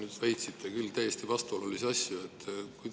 Te väitsite küll täiesti vastuolulisi asju.